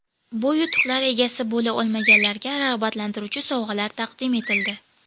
Bu yutuqlar egasi bo‘la olmaganlarga rag‘batlantiruvchi sovg‘alar taqdim etildi.